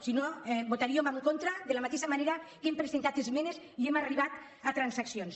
si no hi votaríem en contra de la mateixa manera que hem presentat esmenes i hem arribat a transaccions